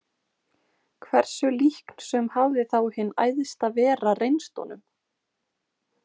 Hversu líknsöm hafði þá hin Æðsta Vera reynst honum!